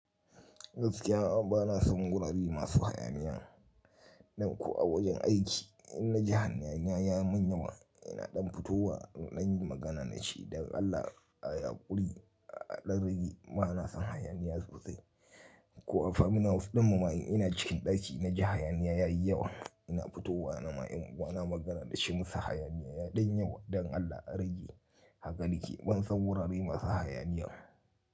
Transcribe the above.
Gaskiya ba na son wurare masu hayaniya. Ɗan kuwa ko wajen aiki ina ji hayaniya yayi mun yawa ina ɗan fitowa ɗan yi magana da shi don Allah a yaƙuri a ɗan rage. Ba na son hayaniya sosai. Ko a family house dinmu ma ina cikin ɗaki ina ji hayaniya yayi yawa ina fitowa na ma in kuwa na magana da shi munsa hayaniya yayi ɗan yawa don Allah a rage. Haka liki ban son wurare masu hayaniya.